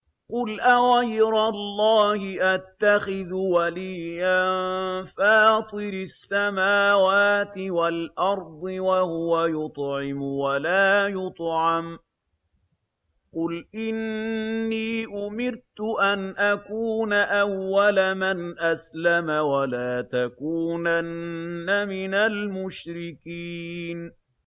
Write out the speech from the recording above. قُلْ أَغَيْرَ اللَّهِ أَتَّخِذُ وَلِيًّا فَاطِرِ السَّمَاوَاتِ وَالْأَرْضِ وَهُوَ يُطْعِمُ وَلَا يُطْعَمُ ۗ قُلْ إِنِّي أُمِرْتُ أَنْ أَكُونَ أَوَّلَ مَنْ أَسْلَمَ ۖ وَلَا تَكُونَنَّ مِنَ الْمُشْرِكِينَ